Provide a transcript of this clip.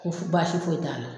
Ko fo baasi foyi t'a la